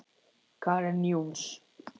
Karen Jóns.